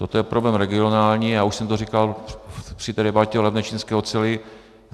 Toto je problém regionální a už jsem to říkal při té debatě o levné čínské oceli.